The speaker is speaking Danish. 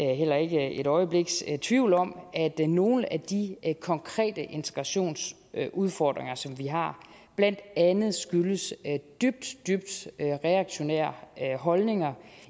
er heller ikke et øjebliks tvivl om at nogle af de konkrete integrationsudfordringer som vi har blandt andet skyldes dybt dybt reaktionære holdninger